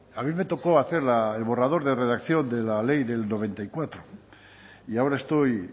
a mí me tocó hacer el borrador de redacción de la ley del noventa y cuatro y ahora estoy